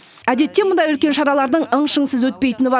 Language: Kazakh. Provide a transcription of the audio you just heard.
әдетте мұндай үлкен шаралардың ың шыңсыз өтпейтіні бар